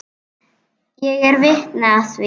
Ég er vitni að því.